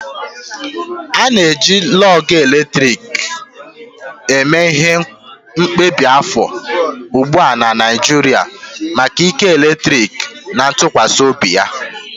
A na-eji lug eletrik eme ihe kemgbe afọ ugbu a na Naijiria maka ike eletrik na ntụkwasị obi ha.